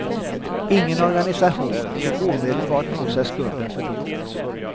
Ingen organisation tog omedelbart på sig skulden för dådet.